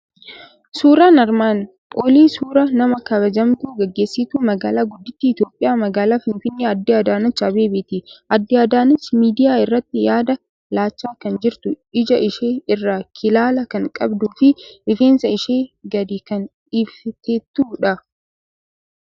Suuraan armaan olii suuraa nama kabajamtuu, gaggeessituu magaalaa guddittii Itoophiyaa, Magaalaa Finfinee Aadde Adaanechi Abbebeeti. Aadde Adaanechi miidiyaa irratti yaada laachaa kan jirtu, ija ishee irraa Kilaala kan qabduu fi rifeensa ishee gadi kan dhiifteettudha.